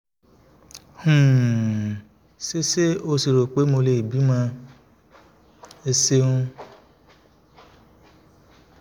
um ṣé ṣé o rò pé mo ṣì lè bímọ? ẹ ṣeun